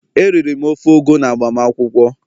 Eriri m ofe ugu n'agbamakwụkwọ